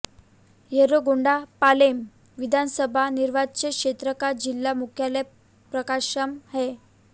येर्रागोंडापालेम विधानसभा निर्वाचन क्षेत्र का जिला मुख्यालय प्रकाशम है